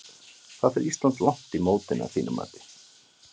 Hvað fer Ísland langt á mótinu að þínu mati?